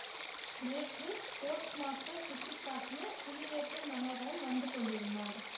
நேற்று post master சுட்டி காட்டிய புலி வேட்டை மனோகரன் வந்து கொண்டிருந்தான்